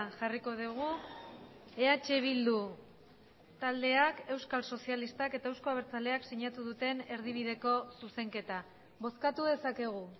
jarriko dugu eh bildu taldeak euskal sozialistak eta euzko abertzaleak sinatu duten erdibideko zuzenketa bozkatu dezakegu